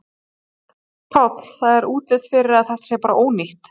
Páll: Það er allt útlit fyrir að þetta sé bara ónýtt?